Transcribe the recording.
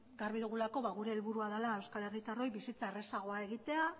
garbi dugulako gure helburua dala euskal herritarroi bizitza errazagoa egitea